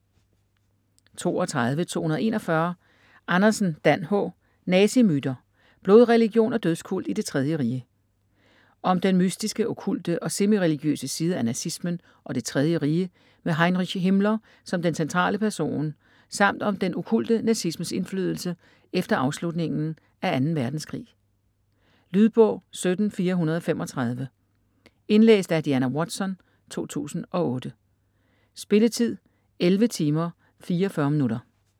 32.241 Andersen, Dan H.: Nazimyter: blodreligion og dødskult i Det Tredje Rige Om den mystiske, okkulte og semi-religiøse side af nazismen og Det Tredje Rige med Heinrich Himmler som den centrale person samt om den okkulte nazismes indflydelse efter afslutningen af 2. verdenskrig. Lydbog 17435 Indlæst af Diana Watson, 2008. Spilletid: 11 timer, 44 minutter.